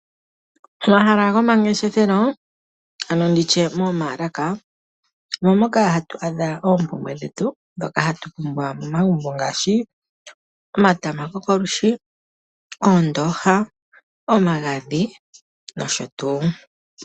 Omahala gomangeshefelo ano nditye moomaalaka omo moka hatu adha oompumbwe dhetu ndhoka hatu pumbwa momagumbo ngaashi omatama gokolwishi, oondooha, omagadhi nosho tuu.